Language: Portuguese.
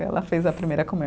Ela fez a primeira comunhão.